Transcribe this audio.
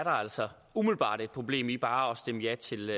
altså umiddelbart et problem i bare at stemme ja til